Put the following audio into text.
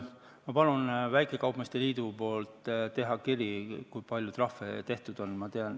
Ma palun väikekaupmeeste liidul teha kiri, kui palju trahve tehtud on.